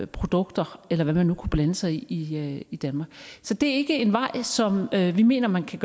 produkter eller hvad man nu kunne blande sig i i i danmark så det er ikke en vej som vi mener man kan